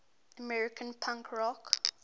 american punk rock